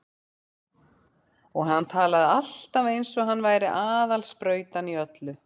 Og hann talaði alltaf eins og hann væri aðal sprautan í öllu.